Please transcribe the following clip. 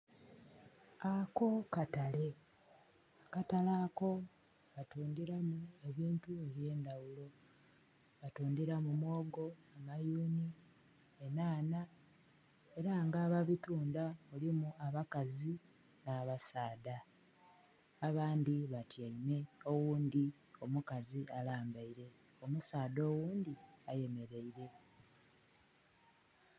Ako katale. Akatale ako batundilamu ebintu eby'endaghulo. Batundhilamu muwogo, amayuni, enhanha, ela nga ababitunda mulimu abakazi nh'abasaadha. Abandhi batyaime oghundhi omukazi alambaile. Omusaadha oghundhi ayemeleile.